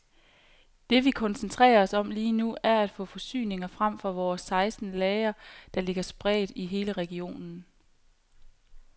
Det vi koncentrerer os om lige nu, er at få forsyninger frem fra vores seksten lagre, der ligger spredt i hele regionen.